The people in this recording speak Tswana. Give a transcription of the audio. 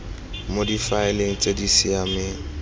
mo difaeleng tse di siameng